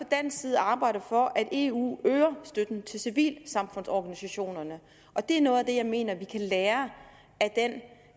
dansk side arbejde for at eu øger støtten til civilsamfundsorganisationerne og det er noget af det jeg mener vi kan lære